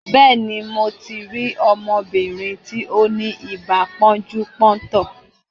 Béèni, mo ti rí ọmọbìnrin tí ó ní ibà pọ́njú-pọ́ntọ̀.